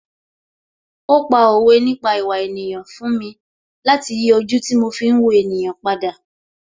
Ó pa òwe nípa ìwà ènìyàn fún mi láti yí ojú tí mo fi ń wo ènìyàn padà